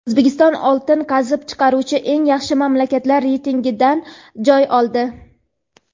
O‘zbekiston oltin qazib chiqaruvchi eng yaxshi mamlakatlar reytingidan joy oldi.